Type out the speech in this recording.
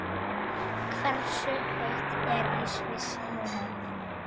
Hversu heitt er í Sviss núna?